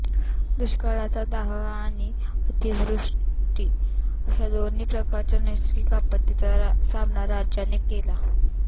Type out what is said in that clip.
दुष्काळाचा दाह आणि अतिवृष्टी अशा दोन्ही प्रकारच्या नैसर्गिक आपत्तींचा सामना राज्याने केला